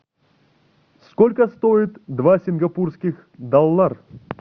сколько стоит два сингапурских доллар